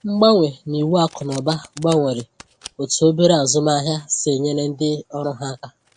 Mgbanwe n’iwu akụnụba gbanwere otú obere azụmahịa si e nyere ndị ọrụ ha aka.